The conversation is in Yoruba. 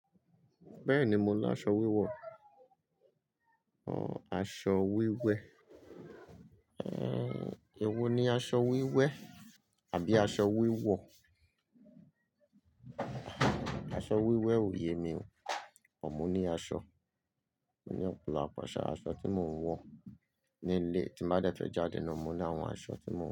Bẹ́ẹ̀ni, mo ń lo aṣọ wíwọ̀. Aṣọ wíwẹ́. Èwo ni aṣọ wíwẹ́ àbí aṣọ wíwọ̀? Aṣọ wíwẹ́ ò yé mi ò. Ọ̀ mo ní aṣọ. Mo ní ọ̀pọ̀lọpọ̀ àṣà aṣọ tí mò ń wọ̀ ní ilé tí n bá dé fẹ́ jáde náà mo ní àwọn aṣọ tí mò ń.